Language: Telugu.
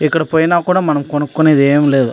ఇక్కడ పోయిన కూడా మనం కొనుక్కునేది ఎం లేదు.